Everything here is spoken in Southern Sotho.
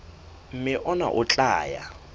mme hona ho tla ya